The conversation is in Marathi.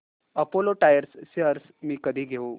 अपोलो टायर्स शेअर्स मी कधी घेऊ